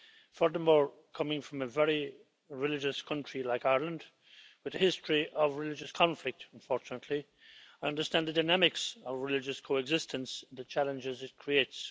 Furthermore, coming from a very religious country like Ireland, with a history of religious conflict unfortunately, I understand the dynamics of religious coexistence and the challenges it creates.